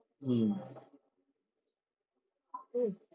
হম